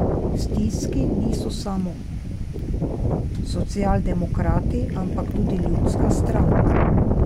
V stiski niso samo socialdemokrati, ampak tudi ljudska stranka.